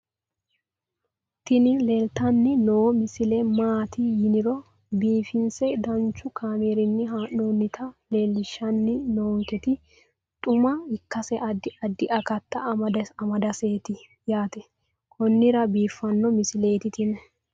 tini leeltanni noo misile maaati yiniro biifinse danchu kaamerinni haa'noonnita leellishshanni nonketi xuma ikkase addi addi akata amadaseeti yaate konnira biiffanno misileeti tini